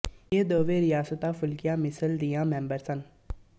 ਇਹ ਦੋਹਵੇਂ ਰਿਆਸਤਾਂ ਫੂਲਕੀਆਂ ਮਿਸਲ ਦੀਆਂ ਮੈਂਬਰ ਸਨ